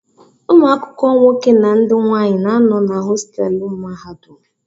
Ụmụ akwụkwọ nwoke na ndị nwanyị na-anọ na hostelu mahadum.